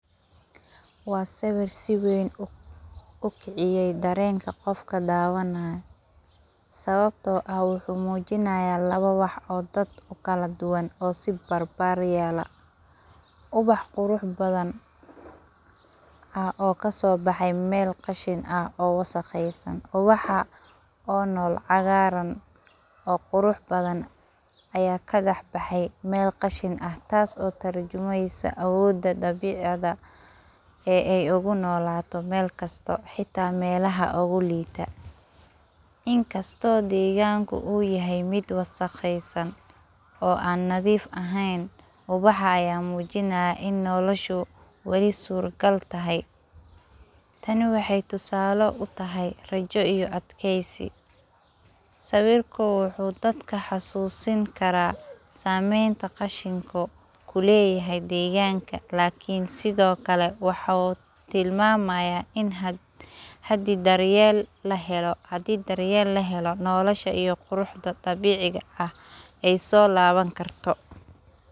Waa sabab si weyn ukiciye dareenka qofka dawanaya sababtoo ah wuxu mujinaya labo wax oo dad ukaladuwan oo si barbaryala ubax qurux badhan oo kasobaxe mel qashin ah oo wasaqeysan ubaxa oo nool cagaaran oo qurux badhan aya kadaxbaxey meel qashin ah taas oo tarjumeysa awooda dabciga ey ogunolaato meel kasto hata melaha uguliita. In kasto degaanku uu yahay meel wasaqeysan oo aan andhif ahey ubaxa aya mujinaa in noloshu ey suragal tahay. tani waxey tusaalo utahay rajo iyo adkeysi. Sawirku wuxu dadku xasuusin kara sameyntu qashiku kuleyahay degaanka lakin sidhoo kale wuxu tilmamaya in hadi daryel lahelo nolosha iyo quruxda dabiciga ha ey soo laban karto.